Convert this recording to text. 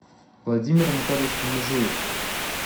владимир анатольевич межуев